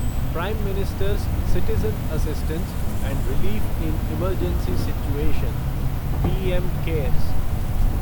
prime minister's citizen assistance and relief in emergency situation PM cares